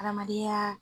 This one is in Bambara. Adamadenya